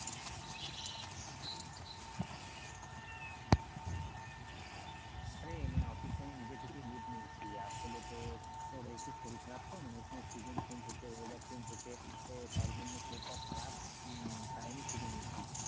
আরে মানে office এ আমি নিজের থেকেই leave নিয়েছি, আসলে তোর একটু শরীর খারাপ তো, মানে এ সময় season change হচ্ছে weather change হচ্ছে তার জন্যে শরীরটা খারাপ উম তাই আমি ছুটি নিয়েছি,